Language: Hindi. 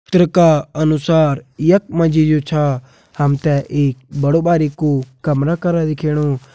चित्र का अनुसार यख मा जी जु छा हम तें एक बड़ु बारिकु कमरा करा दिखेणु।